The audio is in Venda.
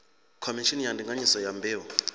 khomishini ya ndinganyiso ya mbeu